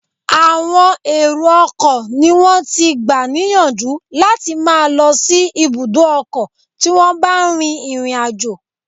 Àwọn èrọ ọkọ̀ ni wón ti gbà níyànjú láti máa lọ sí ibùdó ọkọ tí wón bá rin ìrìn àjò.